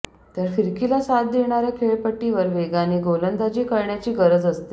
तर फिरकीला साथ देणाऱ्या खेळपट्टीवर वेगाने गोलंदाजी करण्याची गरज असते